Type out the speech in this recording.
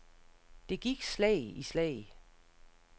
Det gik slag i slag.